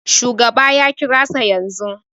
Shugaba ya kirasa yanzu